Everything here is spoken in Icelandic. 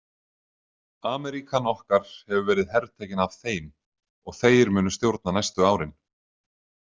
Ameríkan okkar hefur verið hertekin af Þeim og Þeir munu stjórna næstu árin.